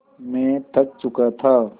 मैं थक चुका था